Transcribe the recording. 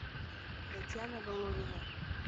татьяна головина